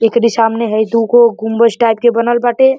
एकरी सामने हई दूगो गुम्बज टाइप के बनल बाटे।